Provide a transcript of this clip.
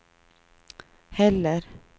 heller